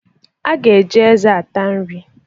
A ga-eji eze ata nri